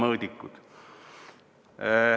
Mõõdikud.